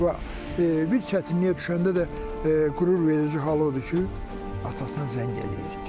Və bir çətinliyə düşəndə də qürurverici hal o odur ki, atasına zəng eləyir.